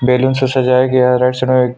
balloon से सजाया गया है